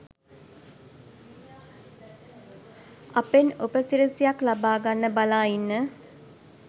අපෙන් උපසි‍රැසියක් ලබාගන්න බලා ඉන්න